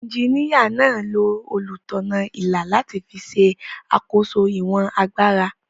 Ejiníyà náà lo olùtọ̀nà-ilà láti fi ṣe àkóso ìwọ̀n agbára